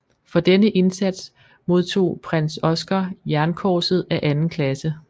For denne indsats modtog Prins Oskar Jernkorset af anden klasse